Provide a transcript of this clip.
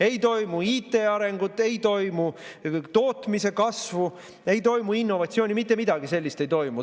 Ei toimu IT arengut, ei toimu tootmise kasvu, ei toimu innovatsiooni, mitte midagi sellist ei toimu.